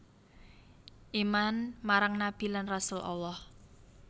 Iman marang nabi lan rasul Allah